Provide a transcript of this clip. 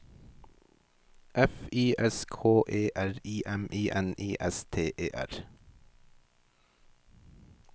F I S K E R I M I N I S T E R